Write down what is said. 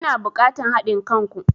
Ina bukatan hadin kan ku.